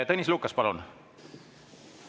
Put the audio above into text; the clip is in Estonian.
Tõnis Lukas, palun!